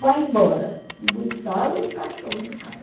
vai embora e botava os cachorros do cara.